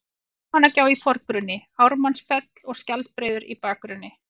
Almannagjá í forgrunni, Ármannsfell og Skjaldbreiður í bakgrunni.